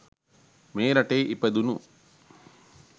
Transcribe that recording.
මේ රටේ ඉපදුනු